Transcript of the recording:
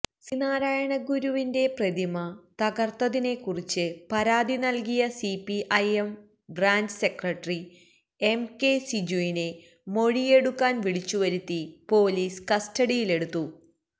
ശ്രീനാരായണഗുരുവിന്റെ പ്രതിമതകർത്തതിനെക്കുറിച്ച് പരാതി നൽകിയ CPI M branch secretary M K സിജുവിനെ മൊഴിയെടുക്കാൻ വിളിച്ചുവരുത്തി പൊലീസ് കസ്റ്റഡിയിലെടുത്തു